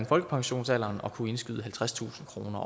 folkepensionsalderen at kunne indskyde halvtredstusind kroner